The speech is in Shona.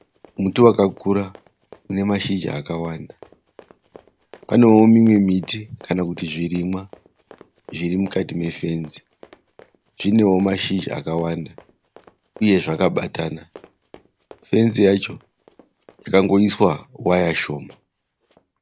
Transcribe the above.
Muti wakakura une mashizha akawanda. Pane wo mimwe miti kana kuti zvirimwa zvirimukati me fenzi. Chinewo mashizha akawanda uye zvakabatana. Fenzi yacho yakangoiswa waya shoma.